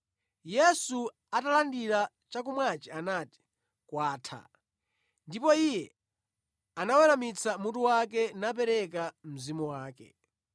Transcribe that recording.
Yesu atalandira chakumwachi anati, “Kwatha.” Ndipo Iye anaweramitsa mutu wake napereka mzimu wake.